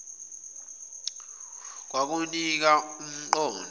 kwakunika um qondo